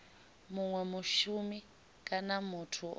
munwe mushumi kana muthu o